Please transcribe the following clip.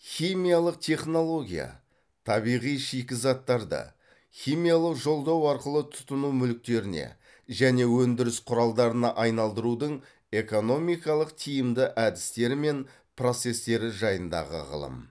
химиялық технология табиғи шикізаттарды химиялық жолдау арқылы тұтыну мүліктеріне және өндіріс құралдарына айналдырудың экономикалық тиімді әдістері мен процестері жайындағы ғылым